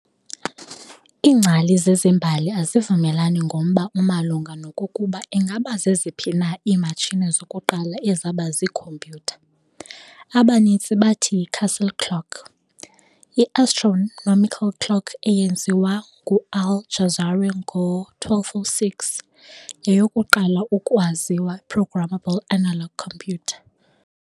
Iingcali zezembali azivumelani ngomba omalunga nokokuba ingaba zeziphi na iimatshini zokuqala ezaba z "iikhompyutha". Abaninzi bathi y"i-castle clock", i-astronomical clock eyenziwa ngu-Al-Jazari ngo-1206, yeyokuqala ukwaziwa programmable analog computer.